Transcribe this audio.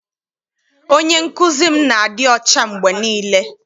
Onye nkụzi m na-adị ọcha mgbe niile.